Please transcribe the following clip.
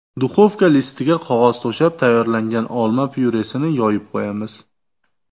Duxovka listiga qog‘oz to‘shab, tayyorlangan olma pyuresini yoyib qo‘yamiz.